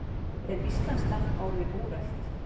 Er íslenskan orðin úrelt?